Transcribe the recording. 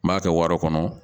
N b'a kɛ wara kɔnɔ